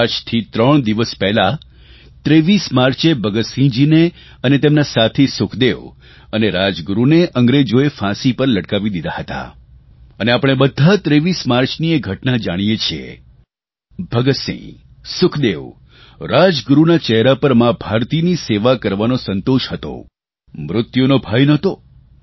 આજથી ત્રણ દિવસ પહેલાં 23 માર્ચે ભગતસિંહજીને અને તેમના સાથી સુખદેવ અને રાજગુરૂને અંગ્રેજોએ ફાંસી પર લટકાવી દીધા હતા અને આપણે બધા 23 માર્ચની એ ઘટના જાણીએ છીએ ભગતસિંહ સુખદેવ રાજગુરૂના ચહેરા પર મા ભારતીની સેવા કરવાનો સંતોષ હતો મૃત્યુનો ભય નહોતો